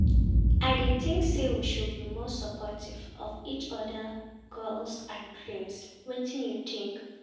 I dey think say we should be more supportive of each oda's goals and dreams, wetin you think?